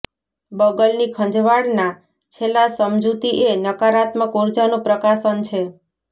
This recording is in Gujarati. બગલની ખંજવાળના છેલ્લા સમજૂતી એ નકારાત્મક ઊર્જાનું પ્રકાશન છે